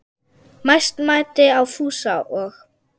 Mest mæddi á Fúsa og